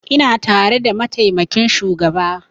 Ina tare da mataimakin shugaba